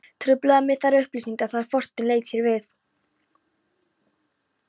Trufluðu mig þær upplýsingar þegar Þorsteinn leit hér við.